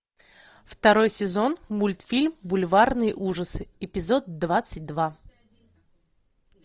второй сезон мультфильм бульварные ужасы эпизод двадцать два